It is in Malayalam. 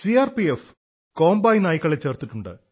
സിആർപിഎഫ് കോംബായി നായ്ക്കളെ ചേർത്തിട്ടുണ്ട്